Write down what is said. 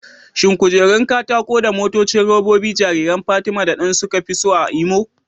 Shin kujerun katako da motocin robobi jariran Fatima da Dan suka fi so a Imo?